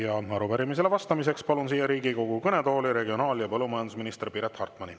Ja arupärimisele vastamiseks palun siia Riigikogu kõnetooli regionaal- ja põllumajandusminister Piret Hartmani.